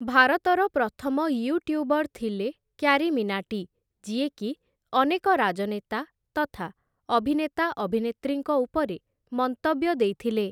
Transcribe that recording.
ଭାରତର ପ୍ରଥମ ୟୁଟ୍ୟୁବର ଥିଲେ କ୍ୟାରୀମିନାଟି ଯିଏକି ଅନେକ ରାଜନେତା ତଥା ଅଭିନେତା ଅଭିନେତ୍ରୀଙ୍କ ଉପରେ ମନ୍ତବ୍ୟ ଦେଇଥିଲେ ।